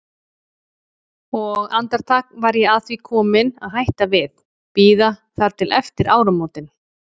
Og andartak var ég að því komin að hætta við, bíða þar til eftir áramótin.